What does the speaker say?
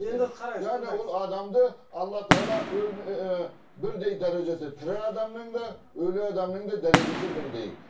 енді қараңыз яғни ол адамды алла тағала ііі бірдей дәрежесі тірі адамның да өлі адамның да дәрежесі бірдей